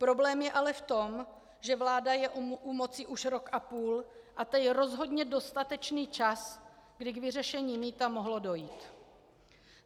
Problém je ale v tom, že vláda je u moci už rok a půl a to je rozhodně dostatečný čas, kdy k vyřešení mýta mohlo dojít.